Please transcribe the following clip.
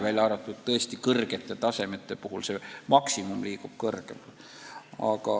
Üksnes kõrgete tasemete puhul maksimum liigub kõrgemale.